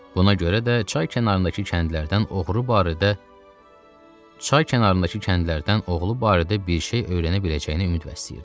Buna görə də çay kənarındakı kəndlərdən oğru barədə çay kənarındakı kəndlərdən oğlu barədə bir şey öyrənə biləcəyinə ümid vəsvəsi idi.